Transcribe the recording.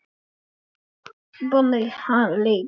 Það lögðu allir í púkkið.